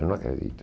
Eu não acredito.